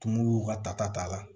Tumuw ka tata t'a la